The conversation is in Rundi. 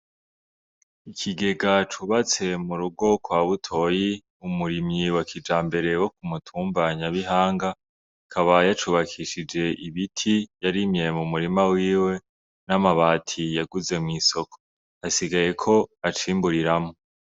Ikigega cubatse mu rugo kwa butoyi umurimyi wa kijambere wo ku mutumba nyabihanga kabaye acubakishije ibiti yarimye mu murima wiwe n'amabati yaguze mw'isoko hasigaye ko acimburiramwo.